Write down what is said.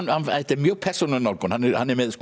mjög persónuleg nálgun hann hann er með